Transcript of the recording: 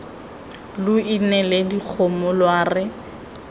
lo neile dikgomo lwa re